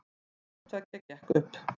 Hvorttveggja gekk upp